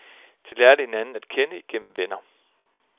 De lærte hinanden at kende igennem venner.